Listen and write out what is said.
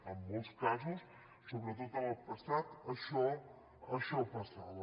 en molts casos sobretot en el passat això passava